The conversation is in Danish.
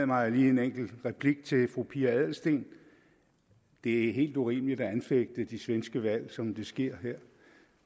mig lige en enkelt replik til fru pia adelsteen det er helt urimeligt at anfægte de svenske valg som det sker her